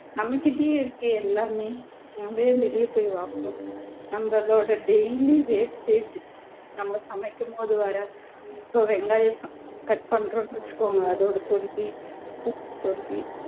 நம்மகிட்டயே இருக்கே எல்லாமே நாம ஏன் வெளிய போய் வாங்கணும் நம்மளோட daily wastage நம்ம சமைக்கும்போது வர வெங்காய cut பண்றோம்னு வச்சுக்கோங்க அதோட தொல்லி பூண்டு தொல்லி